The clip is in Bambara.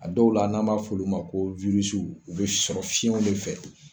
A dɔw la kan b'a fɔ olu ma ko u bɛ sɔrɔ fiɲɛnw de fɛ.